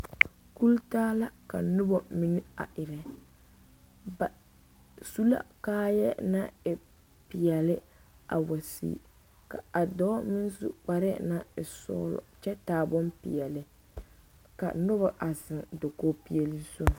Kultaa la ka noba mine a erɛ ba su la kaayɛ naŋ e peɛle a wa sigi ka a dɔɔ meŋ su kparɛɛ naŋ e sɔgelɔ kyɛ taa bompeɛle ka noba a zeŋ dakoo peɛle zu